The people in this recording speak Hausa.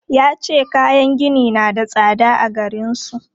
Ya ce kayan gini na da tsada a garin su.